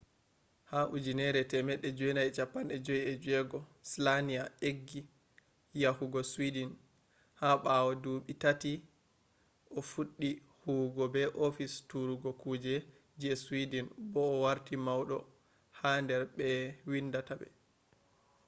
ha 1956 slania eggi yahugo sweden ha bawo duubi taati o fuddi huwugo be office turugo kuje je sweden bo o warti maudo hander be vindinta be